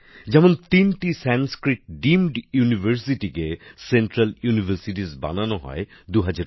যেমন তিনটি সংস্কৃত ডিমড বিশ্ববিদ্যালয়কে ২০২০ সালে কেন্দ্রীয় বিশ্ববিদ্যালয়ে উন্নীত করা হয়েছে